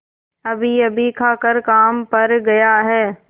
अभीअभी खाकर काम पर गया है